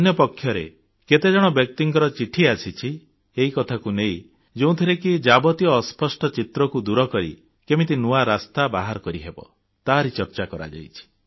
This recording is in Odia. ଅନ୍ୟପକ୍ଷରେ କେତେଜଣ ବ୍ୟକ୍ତିଙ୍କ ଚିଠି ଆସିଛି ଏହି କଥାକୁ ନେଇ ଯେଉଁଥିରେ ଏଯାବତ ଅସ୍ପଷ୍ଟ ଚିତ୍ରକୁ ଦୂରକରି କେମିତି ନୂଆ ରାସ୍ତା ବାହାର କରିହେବ ତାର ଚର୍ଚ୍ଚା କରାଯାଇଛି